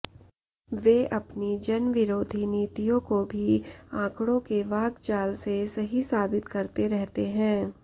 वे अपनी जनविरोधी नीतियों को भी आंकड़ों के वाकजाल से सही साबित करते रहते हैं